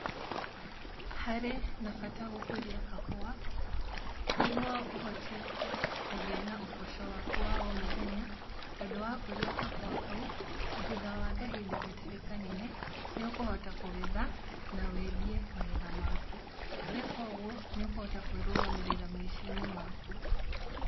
Harĩ na bata gũkũria kahũwa nigũo ũhote kũgĩa na ũboco waku wa o muthenya. Tondũ wakũria kahua kau thutha wa kahinda gatarĩ kanene nĩ ũkũhota kũgetha na wendie magetha maku. Na weka ũguo nĩ ũkũhota kwirũgamĩrĩra maica~inĩ maku.